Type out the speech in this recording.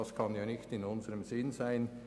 Das kann nicht in unserem Sinn sein.